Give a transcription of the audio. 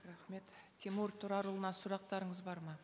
рахмет тимур тұрарұлына сұрақтарыңыз бар ма